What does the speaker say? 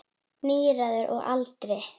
Níræður að aldri.